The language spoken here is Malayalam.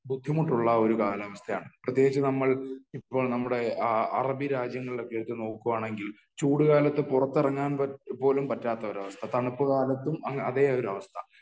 ബുദ്ധിമുട്ടുള്ള ഒരു കാലാവസ്ഥയാണ് . പ്രത്യേകിച്ച് നമ്മൾ ഇപ്പോൾ നമ്മുടെ അറബി രാജ്യങ്ങളിലൊക്കെ എടുത്തു നോക്കുകയാണെങ്കിൽ ചൂട് കാലത്ത് പുറത്തിറങ്ങാൻ പോലും പറ്റാത്ത ഒരവസ്ഥ . തണുപ്പ് കാലത്തും അതേ ഒരവസ്ഥ